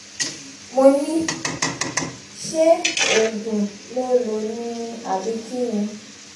mo ní ṣé oògùn ló lò lò ni àbí kín ni